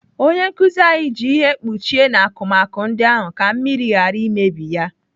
Onye nkụzi anyị ji ihe kpuchie n'akụmakụ ndị ahụ ka mmiri ghara imebi ya.